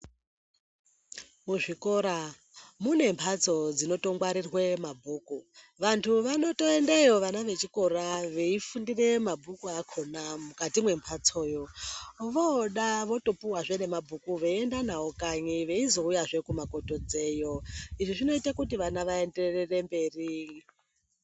Muzvikora munembatso dzinotongarirwe mabhuku vantu vanotoendeyo vana vechikora vechipuwe mabhuku achona mukamwembatso yo vodavotopuwa zvemabhuku veienda nawo kanyi veizouya he kumakotodzeyo.